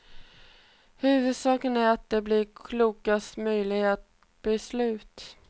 Huvudsaken är att det blir klokaste möjliga beslut.